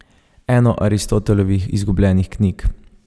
Eno Aristotelovih izgubljenih knjig.